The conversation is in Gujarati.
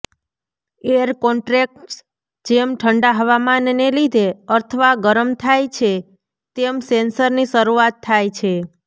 એર કોન્ટ્રેક્ટ્સ જેમ ઠંડા હવામાનને લીધે અથવા ગરમ થાય છે તેમ સેન્સરની શરૂઆત થાય છે